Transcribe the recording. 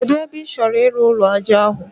Kedụ ebe ị chọrọ ịrụ ụlọ ájá ahụ?